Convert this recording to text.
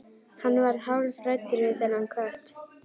Hann varð hálfhræddur við þennan kött.